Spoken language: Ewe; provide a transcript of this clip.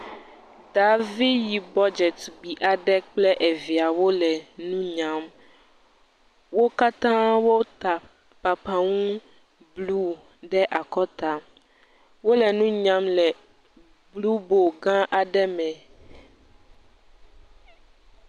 Daavi yibɔ dzetugbe aɖe kple eviawo le nu nyam. Wo katã wota papaŋu bluu ɖe akɔta. Wole nu nyam le bluu bolu gãa aɖe me.